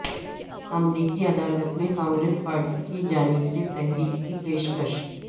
امریکی عدالت میں کانگریس پارٹی کی جانب سے تحریک کی پیشکش